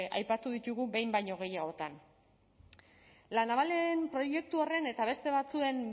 aipatu ditugu behin baino gehiagotan la navalen proiektu horren eta beste batzuen